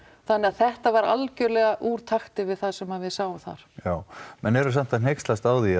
þannig að þetta var algjörlega úr takti við það sem við sáum þar já menn eru samt að hneykslast á því